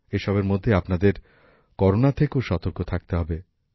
এসবের মধ্যে আপনাদের করোনা থেকেও সতর্ক থাকতে হবে